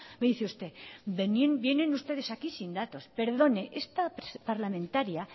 me dice usted vienen ustedes aquí sin datos perdone esta parlamentaria